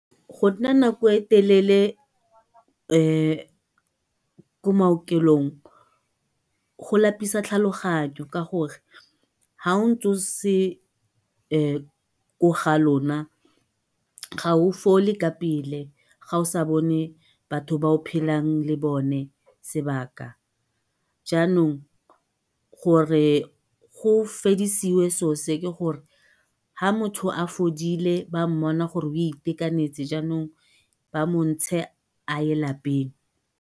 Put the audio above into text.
Go nna nako e telelele ko maokelong go lapisa tlhaloganyo ka gore ha o ntse o se ko ga lona ga o fole ka pele ga o sa bone batho ba o phelang le bone sebaka, janong gore go fedisiwe selo se fa motho a fodile ba mmona gore itekanetse jaanong ba montshe a ye lapeng.